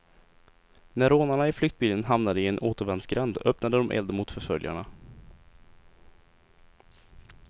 När rånarna i flyktbilen hamnade i en återvändsgränd öppnade de eld mot förföljarna.